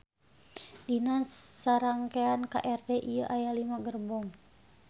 Dina sarangkean KRD ieu aya lima gerbong